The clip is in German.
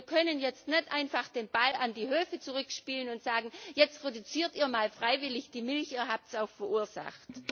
Und wir können jetzt nicht einfach den Ball an die Höfe zurückspielen und sagen Jetzt produziert ihr mal freiwillig die Milch, ihr habt es auch verursacht.